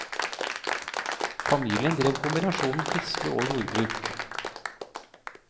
Familien drev kombinasjonen fiske og jordbruk.